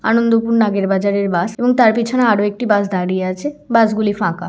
আনন্দপুর নাগের বাজারের বাস এবং তার পিছনে আরো একটি বাস দাঁড়িয়ে আছে বাস গুলি ফাঁকা।